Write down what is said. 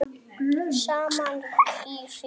Saman í hring